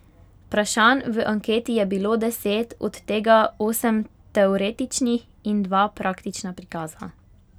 Vprašanj v anketi je bilo deset, od tega osem teoretičnih in dva praktična prikaza.